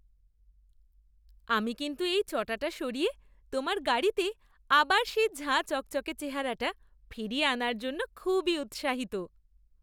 আমি কিন্তু এই চটা টা সারিয়ে তোমার গাড়িতে আবার সেই ঝাঁ চকচকে চেহারাটা ফিরিয়ে আনার জন্য খুবই উৎসাহিত।